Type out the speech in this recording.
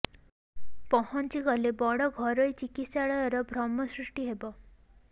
ପହଞ୍ଚି ଗଲେ ବଡ଼ ଘରୋଇ ଚିକିତ୍ସାଳୟର ଭ୍ରମ ସୃଷ୍ଟି ହେବ